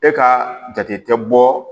E ka jate tɛ bɔ